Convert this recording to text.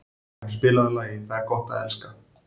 Freyja, spilaðu lagið „Það er gott að elska“.